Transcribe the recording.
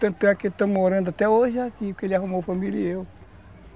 Tanto que estamos morando até hoje aqui, porque ele arrumou a família e eu.